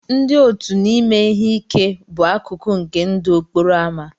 Ndị òtù na ime ihe ike bụ akụkụ nke ndụ okporo ámá.